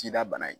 Cida bana ye